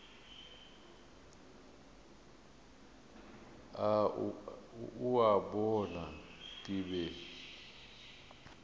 o a bona ke be